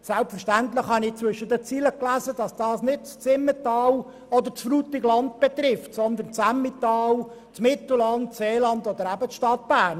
Selbstverständlich habe ich zwischen den Zeilen gelesen, dass dies nicht das Simmental oder das Frutigland betrifft, sondern das Emmental, das Mittelland, das Seeland oder eben die Stadt Bern.